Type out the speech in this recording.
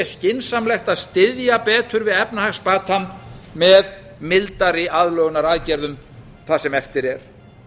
skynsamlegt að styðja betur við efnahagsbatann með mildari aðlögunaraðgerðum það sem eftir er